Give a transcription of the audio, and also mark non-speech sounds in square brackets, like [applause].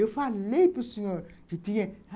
Eu falei para o senhor [unintelligible]